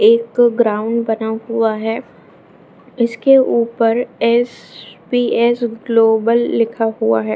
एक ग्राउंड बना हुआ है इसके ऊपर एस.पि.एस. ग्लोबल लिखा हुआ है।